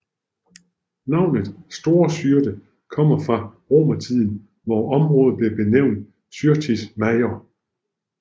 Navnet Store Syrte kommer fra romertiden hvor området blev benævnt Syrtis Major